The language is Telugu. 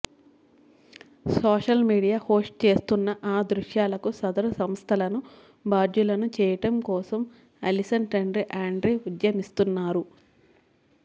సోషల్ మీడియా హోస్ట్ చేస్తున్న ఆ దృశ్యాలకు సదరు సంస్థలను బాధ్యులను చేయటం కోసం అలిసన్ తండ్రి ఆండీ ఉద్యమిస్తున్నారు